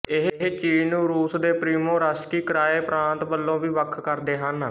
ਇਹ ਚੀਨ ਨੂੰ ਰੂਸ ਦੇ ਪ੍ਰਿਮੋਰਸਕੀ ਕਰਾਏ ਪ੍ਰਾਂਤ ਵਲੋਂ ਵੀ ਵੱਖ ਕਰਦੇ ਹਨ